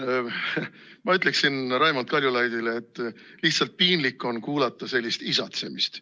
Ma ütleksin Raimond Kaljulaidile, et lihtsalt piinlik on kuulata sellist isatsemist.